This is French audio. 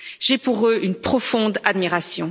J'ai pour eux une profonde admiration.